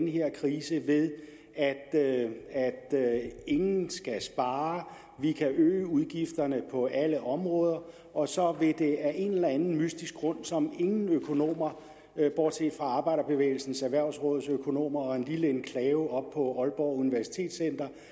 her krise ved at ingen skal spare og vi kan øge udgifterne på alle områder og så vil det af en eller anden mystisk grund som ingen økonomer bortset fra arbejderbevægelsens erhvervsråds økonomer og en lille enklave oppe på aalborg universitet